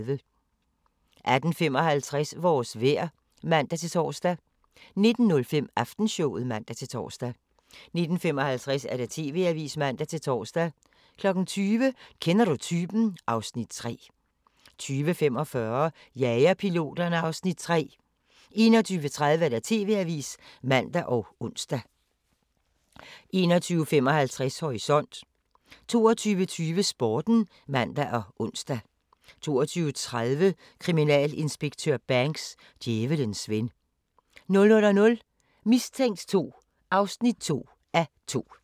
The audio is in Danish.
18:55: Vores vejr (man-tor) 19:05: Aftenshowet (man-tor) 19:55: TV-avisen (man-tor) 20:00: Kender du typen? (Afs. 3) 20:45: Jagerpiloterne (Afs. 3) 21:30: TV-avisen (man og ons) 21:55: Horisont 22:20: Sporten (man og ons) 22:30: Kriminalinspektør Banks: Djævelens ven 00:00: Mistænkt 2 (2:2)